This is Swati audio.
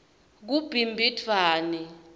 kubimbidvwane